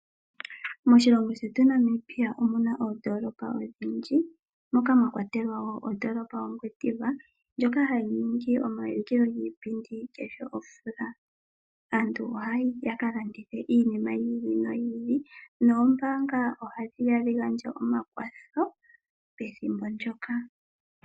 Moshilongo shetu Namibia omuna oondoolopa odhindji moka mwa kwatelwa woo ondoolopa ya Ngwediva ndjoka hayi ningi omayindilo giipindi kehe omvula. Aantu ohaya yi ya ka landithe iinima yi ili no yi ili noombaanga oha dhi gandja omakwatho pethimbo ndyoka.